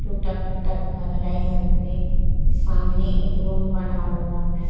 टूटा फूटा घर है यहां पे सामने एक रूम बना हुआ है।